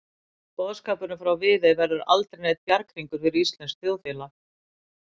Boðskapurinn frá Viðey verður aldrei neinn bjarghringur fyrir íslenskt þjóðfélag.